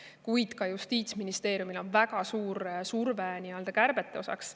Paraku ka Justiitsministeeriumil on väga suur surve kärbete tegemiseks.